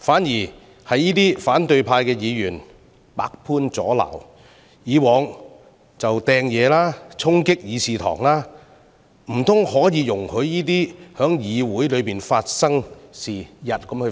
這些反對派議員卻百般阻撓，過往亦曾擲物和衝擊議事堂，難道可以容許這類行為在議會內發生嗎？